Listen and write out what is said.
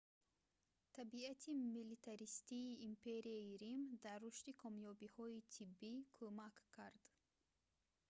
табиати милитаристии империяи рим дар рушди комёбиҳои тиббӣ кумак кард